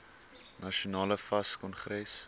nasionale fas kongres